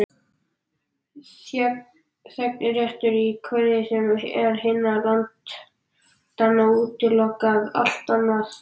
Þegnréttur í hverju sem er hinna landanna útilokar allt annað.